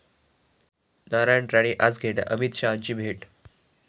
नारायण राणे आज घेणार अमित शहांची भेट